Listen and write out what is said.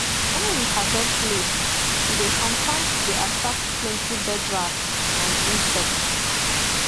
when we harvest late e dey sometimes dey attract plenty birdrats and insects